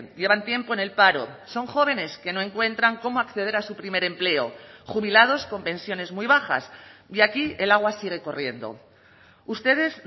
llevan tiempo en el paro son jóvenes que no encuentran cómo acceder a su primer empleo jubilados con pensiones muy bajas y aquí el agua sigue corriendo ustedes